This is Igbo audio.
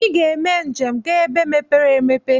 Iga eme njem ga ebe mepere emepe!